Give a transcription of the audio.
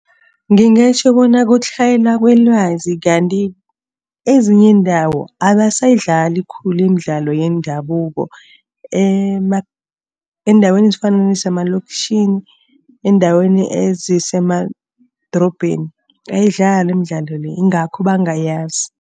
Ngingatjho bona kutlhayela kwelwazi, kanti kwezinye iindawo abasayidlali khulu imidlalo yendabuko. Eendaweni ezifana nezemaloktjhini, eendaweni ezisemadorobheni ayidlalwa imidlalo le yingakho bangayazi.